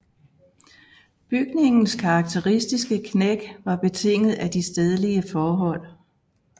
Bygningens karakteristiske knæk var betinget af de stedlige forhold